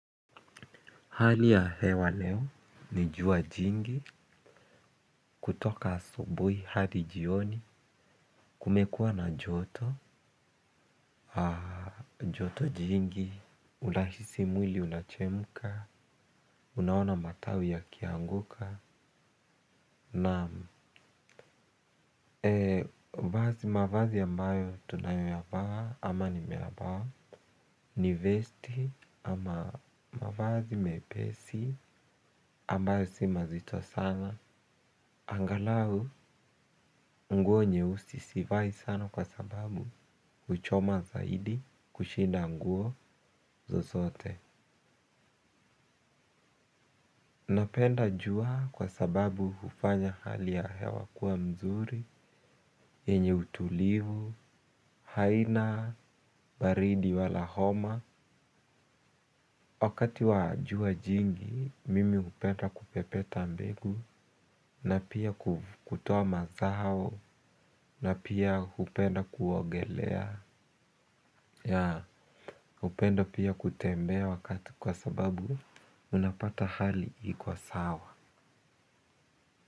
Hali ya hewa leo, ni jua jingi, kutoka asubui hadi jioni, kumekuwa na joto, joto jingi, unahisi mwili unachemka, unaona matawi yakianguka, naam vazi mavazi ambayo tunayoyavaa ama nimeyavaa, ni vesti ama mavazi mepesi ambayo si mazito sana. Angalau nguo nyeusi sivai sana kwa sababu huchoma zaidi kushinda nguo zozote napenda jua kwa sababu hufanya hali ya hewa kuwa mzuri yenye utulivu, haina, baridi wala homa wakati wa jua jingi, mimi hupenda kupepeta mbegu na pia kutoa mazao na pia hupenda kuogelea ya, hupenda pia kutembea wakati kwa sababu unapata hali iko sawa.